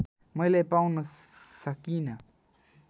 मैले पाउन सकिँन